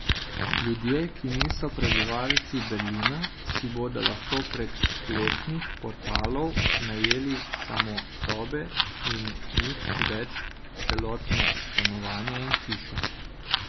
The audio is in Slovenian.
Ljudje, ki niso prebivalci Berlina, si bodo lahko prek spletnih portalov najeli samo sobe in nič več celotna stanovanja in hiše.